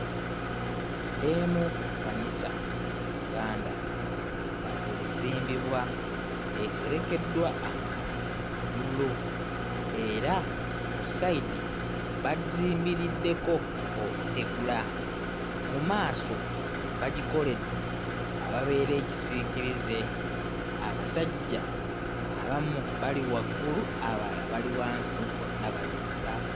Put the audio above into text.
Emu ku kkanisa mu Uganda nga ezimbibwa. Eserekeddwa amabaati ga bbululu era ku sayidi bagizimbiriddeko obutegula. Mu maaso bagikoledde awabeera ekisiikirize. Abasajja abamu bali waggulu abalala bali wansi bonna bazimba.